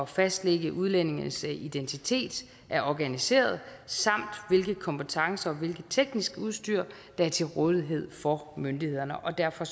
fastlægge udlændinges identitet er organiseret samt hvilke kompetencer og hvilket teknisk udstyr der er til rådighed for myndighederne og derfor